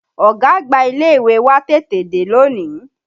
Ọ̀gá àgbà ilé ìwé wa tètè dé lónìí